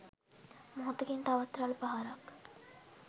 මොහොතකින් තවත් රළ පහරක්